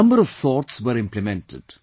A number of thoughts were implemented